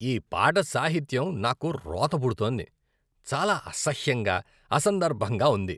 ఈ పాట సాహిత్యం నాకు రోత పుడుతోంది. చాలా అసహ్యంగా, అసందర్భంగా ఉంది.